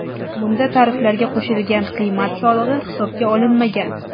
Bunda tariflarga qo‘shilgan qiymat solig‘i hisobga olinmagan.